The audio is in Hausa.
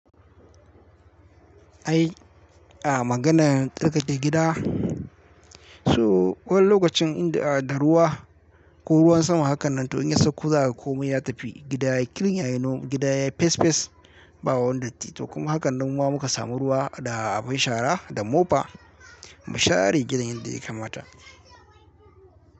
Ai, a maganar tsarkake gida. So wani lokacin in da ruwa ko ruwan sama hakan nan to in ya sauka za ka kuma ya tafi gida. Kirin ya yi noman gida ya yi fes fes, ba wani datti. To kuma hakan nan ma muka samu ruwa da abin shara da mofa, mu share gidan yadda yaka mata.